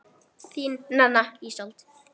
Þín, Nanna Ísold.